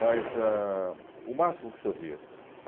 Mas ah o máximo que se ouvia.